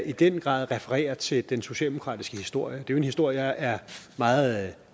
i den grad refererer til den socialdemokratiske historie det er jo en historie jeg er meget